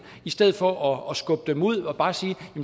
i stedet for at skubbe dem ud og bare sige